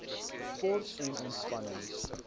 sport en ontspanning